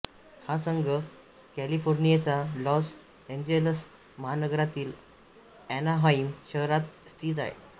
हा संघ कॅलिफोर्नियच्या लॉस एंजेलस महानगरातील एनाहाइम शहरात स्थित आहे